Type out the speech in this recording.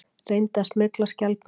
Reyndi að smygla skjaldbökum